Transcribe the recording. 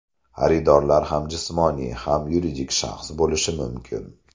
Xaridorlar ham jismoniy, ham yuridik shaxs bo‘lishi mumkin.